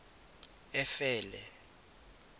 efele